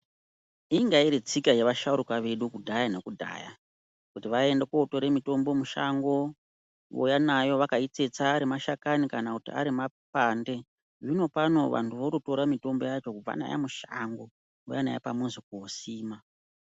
Ingairitsika yevashauraka edu ekudhayanekudhaya , kuti vaiende kutora motombo mushango vouya nayo vakaitsetsa ari mashakani kana arimapande .Zviinopano vantu vototora mitombo yacho kubva nayo mushango vouya nayo pamuzi kosima.